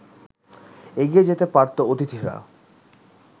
এগিয়ে যেতে পারতো অতিথিরা